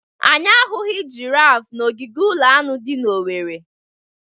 Anyị ahụghị girafe n'ogige ụlọ anụ dị na Owerri.